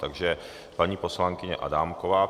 Takže paní poslankyně Adámková.